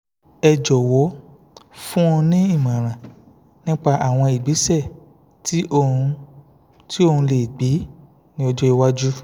ẹ jọ̀wọ́ fún un ní ìmọ̀ràn nípa àwọn ìgbésẹ̀ tí òun tí òun lè gbé ní ọjọ́ iwájú